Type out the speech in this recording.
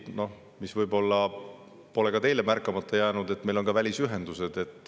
Võib-olla pole ka teile märkamata jäänud, et meil on ka välisühendused.